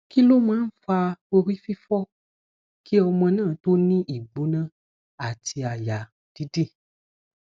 kí ló máa ń fa orífifo kí ọmọ náà tó ní igbona ati aya didi